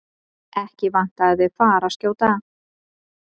Ekki vantaði þau fararskjóta.